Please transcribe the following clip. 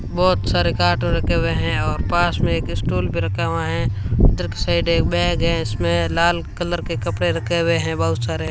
बहोत सारे कार्टून रखे हुए हैं और पास में एक स्टूल भी रखा हुआ है उधर साइड एक बैग है उसमें लाल कलर के कपड़े रखे हुए हैं बहुत सारे।